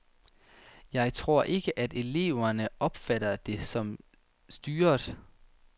Jeg tror ikke, at eleverne opfatter det som styret.